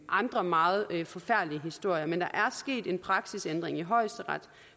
andre meget forfærdelige historier men der er sket en praksisændring i højesteret